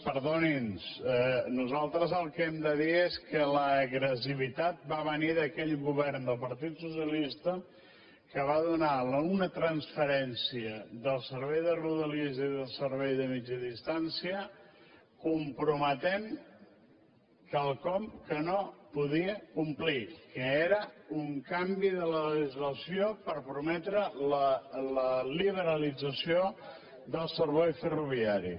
perdonin nosaltres el que hem de dir és que l’agressivitat va venir d’aquell govern del partit socialista que va donar una transferència del servei de rodalies i del servei de mitjana distància comprometent quelcom que no podia complir que era un canvi de la legislació per prometre la liberalització del servei ferroviari